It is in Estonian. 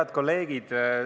Head kolleegid!